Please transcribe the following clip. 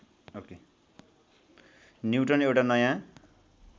neutron एउटा नयाँ